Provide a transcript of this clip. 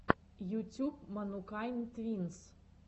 ютюб манукайн твинс